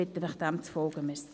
Ich bitte Sie, dem zu folgen.